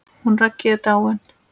Hún Raggý er dáin.